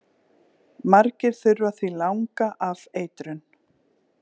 Margir þurfa því langa afeitrun